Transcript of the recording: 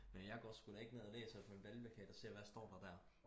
men jeg går sku da ikke ned og læser på en valgplakat og ser hvad står der der